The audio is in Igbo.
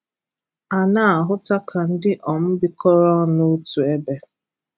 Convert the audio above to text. A na-ahụ́tà ka ndị um bíkọrọ ọnụ otu ebe.